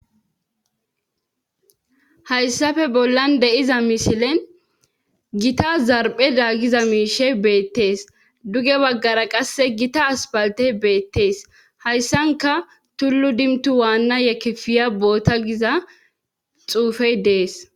Hayssafe bollan deiza mishilen gita zarphe daagiza miishey beettees duge baggara qasse gita aspaltey beettees hayssanka tullu dimtu waanna yekefiya boota giza xuufey dees.